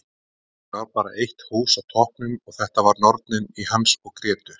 Kannski var bara eitt hús á toppnum og þetta var Nornin í Hans og Grétu.